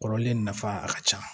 Kɔrɔlen nafa a ka ca